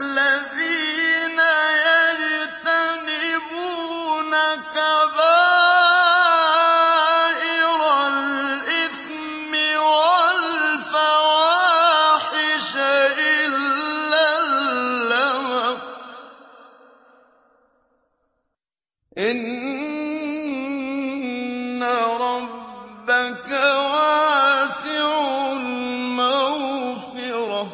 الَّذِينَ يَجْتَنِبُونَ كَبَائِرَ الْإِثْمِ وَالْفَوَاحِشَ إِلَّا اللَّمَمَ ۚ إِنَّ رَبَّكَ وَاسِعُ الْمَغْفِرَةِ ۚ